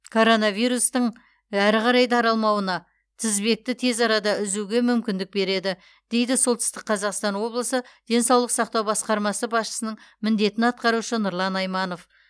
корона вирустың дің әрі қарай таралмауына тізбекті тез арада үзуге мүмкіндік береді дейді солтүстік қазақстан облысы денсаулық сақтау басқармасы басшысының міндетін атқарушы нұрлан айманов